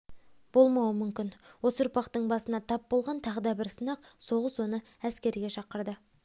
болмауы мүмкін осы ұрпақтың басына тап болған тағы да бір сынақ соғыс оны әскерге шақырады